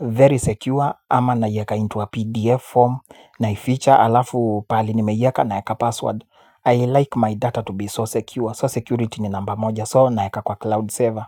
Very secure ama naieka into a PDF form naiificha halafu pali nimeiweka naweka password I like my data to be so secure, so security ni namba moja so naeka kwa cloud server.